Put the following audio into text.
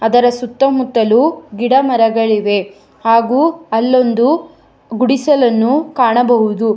ಅದರ ಸುತ್ತಮುತ್ತಲೂ ಗಿಡ ಮರಗಳಿವೆ ಹಾಗೂ ಅಲ್ಲೊಂದು ಗುಡಿಸಲನ್ನು ಕಾಣಬಹುದು.